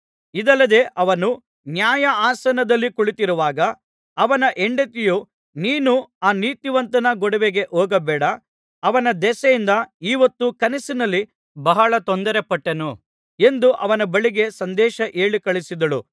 ಇದಲ್ಲದೆ ಅವನು ನ್ಯಾಯಾಸನದಲ್ಲಿ ಕುಳಿತಿರುವಾಗ ಅವನ ಹೆಂಡತಿಯು ನೀನು ಆ ನೀತಿವಂತನ ಗೊಡವೆಗೆ ಹೋಗಬೇಡ ಅವನ ದೆಸೆಯಿಂದ ಈ ಹೊತ್ತು ಕನಸಿನಲ್ಲಿ ಬಹಳ ತೊಂದರೆ ಪಟ್ಟೆನು ಎಂದು ಅವನ ಬಳಿಗೆ ಸಂದೇಶ ಹೇಳಿಕಳುಹಿಸಿದಳು